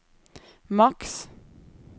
maks